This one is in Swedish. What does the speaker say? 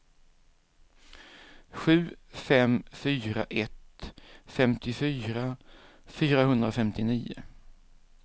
sju fem fyra ett femtiofyra fyrahundrafemtionio